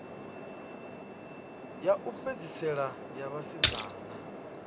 ya u fhedzisela ya vhasidzana